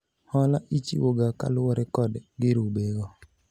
hola ichiwo ga kaluwore kod girube go